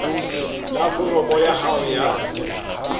la foromo ya hao ya